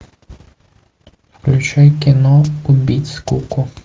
включай кино убить скуку